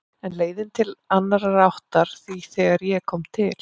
En leiðin lá til annarrar áttar því þegar ég kom til